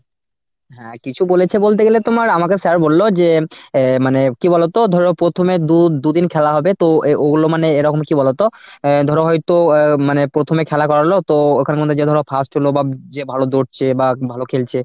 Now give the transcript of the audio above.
হ্যাঁ কিছু বলেছে বলতে গেলে তোমার আমাকে sir বলল যে আহ মানে কি বলতো ধরো প্রথমে দু~ দুদিন খেলা হবে তো এ ওগুলো মানে এরকম কি বলতো? অ্যাঁ ধরো হয়তো অ্যাঁ মানে প্রথমে খেলা করালো তো এখন মানে যে ধরো first হলো বা যে ভালো ধরছে বা ভালো ‌খেলছে,